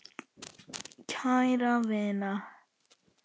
Kæra vina!